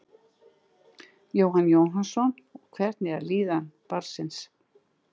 Jóhann Jóhannsson: Og hvernig er líðan barnsins?